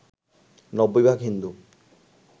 ৯০ ভাগ হিন্দু